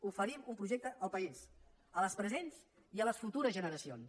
oferim un projecte al país a les presents i a les futures generacions